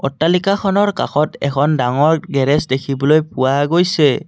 অট্টালিকাখনৰ কাষত এখন ডাঙৰ গেৰেজ দেখিবলৈ পোৱা গৈছে।